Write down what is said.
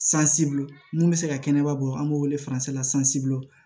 mun bɛ se ka kɛnɛba bɔ an b'o wele la